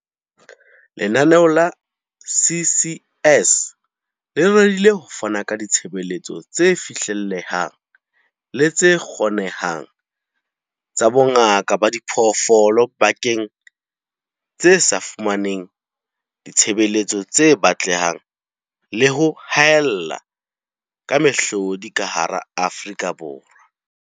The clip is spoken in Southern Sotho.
Lenaneo la CCS le rerile ho fana ka ditshebeletso tse fihlellehang le tse kgonehang tsa bongaka ba diphoofolo dibakeng tse sa fumaneng ditshebeletso tse batlehang le ho haella ka mehlodi ka hara Afrika Borwa.